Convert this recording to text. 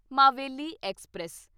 Maveli express